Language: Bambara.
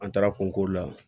An taara kunko la